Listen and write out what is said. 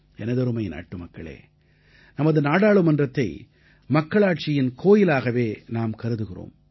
எனதருமை நாட்டுமக்களே நமது நாடாளுமன்றத்தை மக்களாட்சியின் கோயிலாகவே நாம் கருதுகிறோம்